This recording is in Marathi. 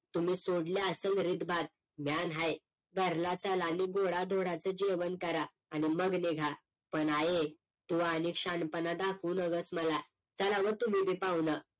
तुम्ही सोडली असल रीत भात म्या न्हाय घरला चला आणि गोडा-धोडाचं जेवण करा आणि मग निघा पण आये तू आनीक शहाणपणा दाखवू नकोस मला चला व तुम्ही बी पाहून